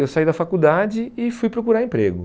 Eu saí da faculdade e fui procurar emprego.